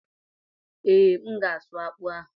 Ee, M ga-asụ akpụ ahụ.